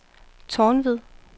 Tornved